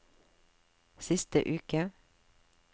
siste uke